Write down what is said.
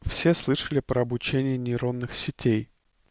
все слышали про обучение нейронных сетей